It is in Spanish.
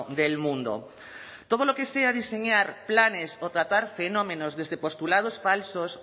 del mundo todo lo que sea diseñar planes o tratar fenómenos desde postulados falsos